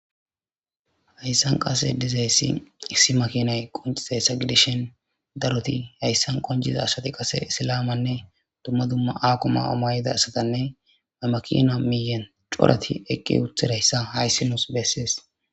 Haysan qase dizaysi issi makinay eqi uttidaysa gidishin daroti haysan qoncida asati qase isilama duma duma ako mayo mayida asa gidishin ha makina miyen corati eqqi uttidaysa haysi nus beses